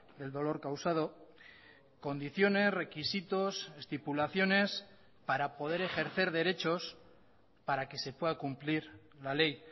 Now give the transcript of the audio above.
del dolor causado condiciones requisitos estipulaciones para poder ejercer derechos para que se pueda cumplir la ley